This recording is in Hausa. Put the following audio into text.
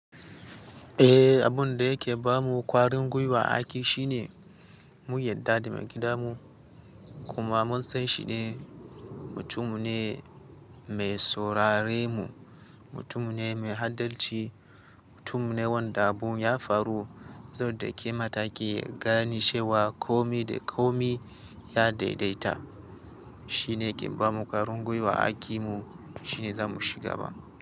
Eh, abun da yake ba mu ƙwarin gwiwa aiƙi shine mun yadda da maigida mu kuma mun san shi ne mutum ne mai saurare mu, mutum ne mai adalci, mutum ne wanda abun ya faru, zai dauki ma taki ya gani cewa komai da komai ya daidaita. Shi ne ke ba mu ƙwarin gwiwa aƙi mu shine za mu ciga ba.